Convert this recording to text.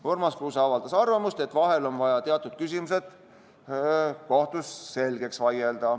Urmas Kruuse avaldas arvamust, et vahel on vaja teatud küsimused kohtus selgeks vaielda.